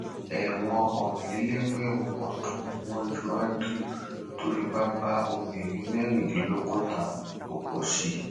ẹwọn ọrìnlélẹgbẹrún ọdún ni wọn ju andrew tó fipá bá obìnrin mẹrìndínlọgọta lò pọ sí